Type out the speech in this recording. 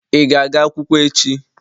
Ị ga-aga akwụkwọ echi?